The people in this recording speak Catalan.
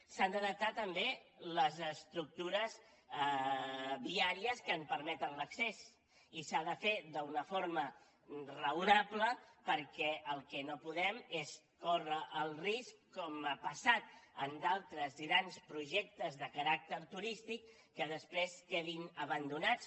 s’han d’adaptar també les estructures viàries que en permeten l’accés i s’ha de fer d’una forma raonable perquè el que no podem és córrer el risc com ha passat en d’altres grans projectes de caràcter turístic que després quedin abandonats